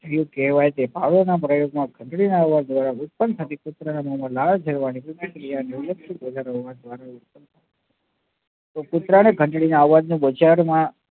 કયું કેવાય તે ભાવો નાં પ્રયોગ માં ઘંટડી ના અવાજ દ્વારા ઉત્પન્ન થતી પુત્ર ના મોમાં લાળ જરવા ની પ્રતિક્રિયા